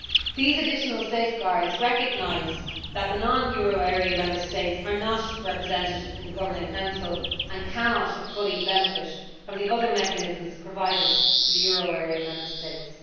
These additional safeguards recognise that the non euro area Member States are not represented in the Governing Council and cannot fully benefit from the other mechanisms provided for the euro area Member States.